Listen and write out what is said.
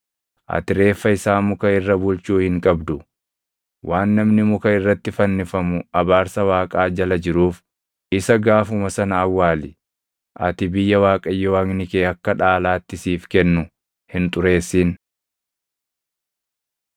ati reeffa isaa muka irra bulchuu hin qabdu. Waan namni muka irratti fannifamu abaarsa Waaqaa jala jiruuf isa gaafuma sana awwaali. Ati biyya Waaqayyo Waaqni kee akka dhaalaatti siif kennu hin xureessin.